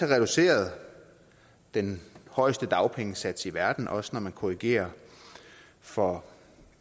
reduceret den højeste dagpengesats i verden også når man korrigerer for